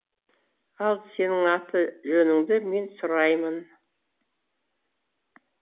ал сенің аты жөніңді мен сұраймын